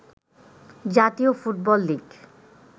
জাতীয় football league